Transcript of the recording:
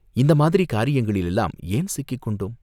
இந்த மாதிரி காரியங்களிலெல்லாம் ஏன் சிக்கிக் கொண்டோ ம்?